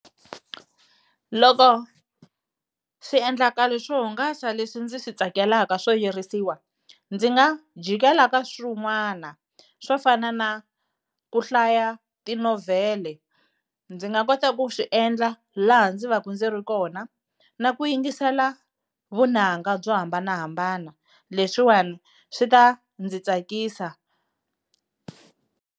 Loko swiendlakalo swo hungasa leswi ndzi swi tsakelaka swo yirisiwa ndzi nga jikeli ka swin'wana swo fana na ku hlaya tinovhele, ndzi nga kota ku swi endla laha ndzi va ndzi ri kona na ku yingisela vunanga byo hambanahambana leswiwani swi ta ndzi tsakisa.